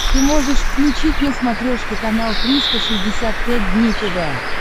ты можешь включить на смотрешке канал триста шестьдесят пять дней тв